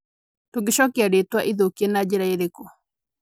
Tũngicokia rĩĩtwa ithũkie na njĩra ĩrĩkũ?